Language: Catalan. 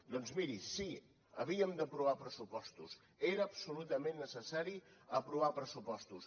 doncs miri sí havíem d’aprovar pressupostos era absolutament necessari aprovar pressupostos